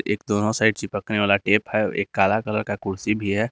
दोनों साइड चिपकने वाला टेप है एक काला कलर का कुर्सी भी है।